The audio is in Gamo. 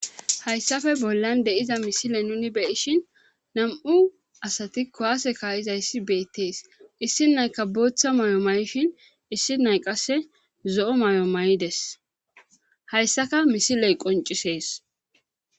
Hayssafe bollan deiza misile nuni beyishin nam7u asati kowaase ka7iza issi beettees issi nayka booththa mayo may7ishin issi nay qasse zo7o may7o may7ides hayssaka misiley qoncisees